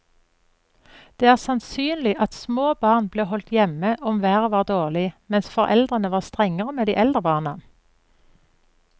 Det er sannsynlig at små barn ble holdt hjemme om været var dårlig, mens foreldrene var strengere med de eldre barna.